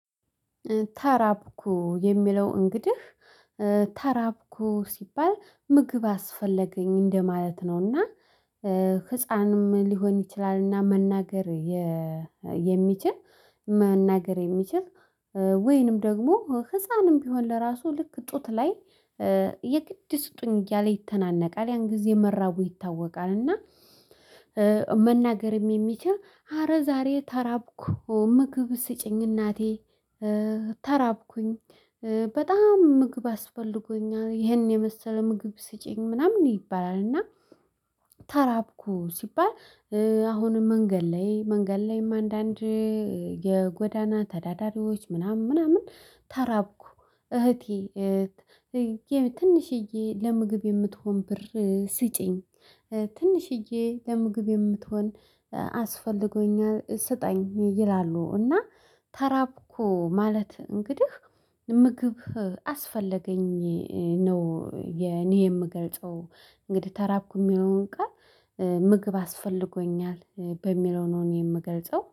ተራብኩ የሚለው እንግዲህ ተራብኩ ሲባል ምግብ አስፈለገኝ እንደማለት ነው። እና ህፃንም ሊሆን ይችላል እና መናገር የሚችል መናገር የሚችል። ወይንም ደግሞ ህፃንም ቢሆን ለራሱ ልክ ጡት ላይ የግድ ስጡኝ እያለ ይተናነቃል ያን ጊዜ መራቡ ይታወቃል። እና መናገርም የሚችል ኧረ ዛሬ ተራብኩ ምግብ ስጪኝ እናቴ ተራብኩኝ በጣም ምግብ አስፈልጎኛል ይሄን የመሰለ ምግብ ስጪኝ ምናምን ይባላል። እና ተራብኩ ሲባል አሁንም መንገድ ላይ መንገድ ላይም አንዳንድ የጎዳና ተዳዳሪዎች ምናምን ምናምን ተራብኩ እህቴ ትንሽዬ ለምግብ የምትሆን ብር ስጪኝ። ትንሽዬ ለምግብ የምትሆን አስፈልጎኛል ሰጠኝ ይላሉ እና ተራቡኮ ማለት እንግዲህ ምግብ አስፈለገኝ ነው። የኔ የምገልጸው እንግዲህ ተራብኩ የሚለውን ቃል ምግብ አስፈልጎኛል በሚለው ነው። እኔ የምገልጸው